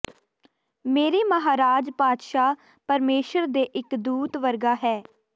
ਮੇਰੇ ਮਹਾਰਾਜ ਪਾਤਸ਼ਾਹ ਪਰਮੇਸ਼ੁਰ ਦੇ ਇਕ ਦੂਤ ਵਰਗਾ ਹੈ